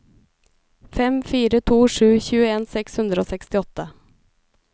fem fire to sju tjueen seks hundre og sekstiåtte